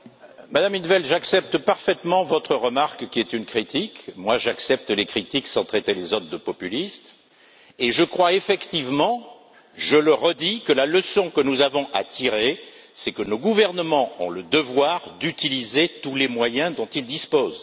Madame in't Veld, j'accepte parfaitement votre remarque, qui est une critique. Moi, j'accepte les critiques sans traiter les autres de populistes, et je crois effectivement, je le redis, que la leçon que nous avons à tirer, c'est que nos gouvernements ont le devoir d'utiliser tous les moyens dont ils disposent.